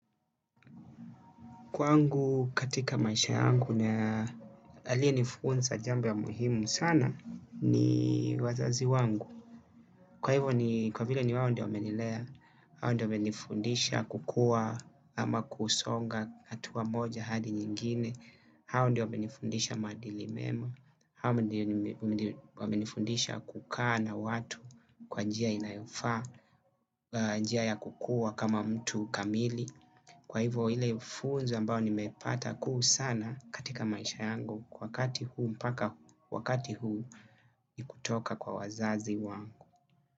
Kwangu katika maisha yangu na aliyenifunza jambo ya muhimu sana ni wazazi wangu. Kwa hivyo ni kwa vile ni wao ndio wamenilea, hao ndio wamenifundisha kukua ama kusonga hatua moja hadi nyingine, hao ndio wamenifundisha maadili mema, hao ndio wamenifundisha kukaa na watu kwa njia inayofaa, njia ya kukua kama mtu kamili. Kwa hivyo ile funzo ambayo nimepata kuu sana katika maisha yangu kwa wakati huu mpaka wakati huu ni kutoka kwa wazazi wangu.